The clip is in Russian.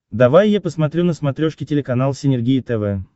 давай я посмотрю на смотрешке телеканал синергия тв